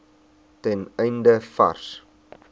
ten einde vars